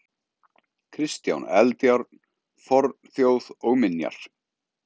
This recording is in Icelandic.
Kristján Eldjárn: Fornþjóð og minjar.